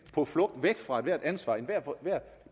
på flugt væk fra ethvert ansvar enhver